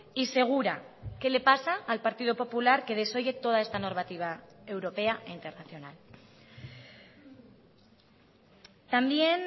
y segura qué le pasa al partido popular que desoye toda esta normativa europea e internacional también